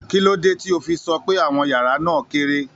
Kí ló dé tí o fi sọ pé àwọn yàrá náà kéré?